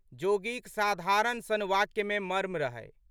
जोगीक साधारण सन वाक्यमे मर्म रहै।